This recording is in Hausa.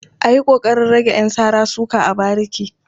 A yi ƙoƙarin rage ƴan sara-suka a bariki.